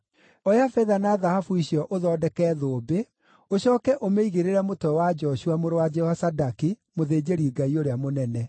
Oya betha na thahabu icio ũthondeke thũmbĩ, ũcooke ũmĩigĩrĩre mũtwe wa Joshua mũrũ wa Jehozadaki, mũthĩnjĩri-Ngai ũrĩa mũnene.